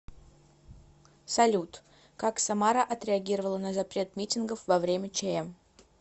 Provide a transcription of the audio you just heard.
салют как самара отреагировала на запрет митингов во время чм